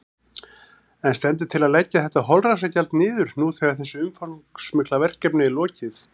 En stendur til að leggja þetta holræsagjald niður nú þegar þessu umfangsmikla verkefni er lokið?